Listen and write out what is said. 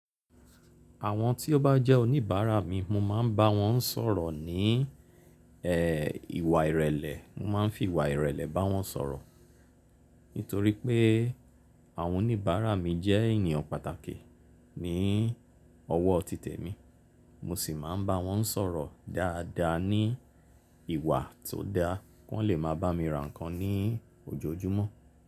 Àwọn tí ó bá jẹ́ oníbàárà mi, mo máa ń bá wọn sọ̀rọ̀ ní ẹ, ìwà ìrẹ̀lẹ̀. Mo máa ń fi ìwà ìrẹ̀lẹ̀ bá wọn sọ̀rọ̀. Nítorí pé àwọn oníbàárà mi jẹ́ ènìyàn pàtàkì ní ọwọ́ tí temi. Mo sì máa ń bá wọn sọ̀rọ̀ dáadáa ní ìwà tó da, kí wọ́n lè máa bá mi ra nǹkan ní ojoojúmọ́